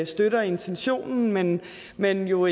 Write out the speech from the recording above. støtter intentionen men jo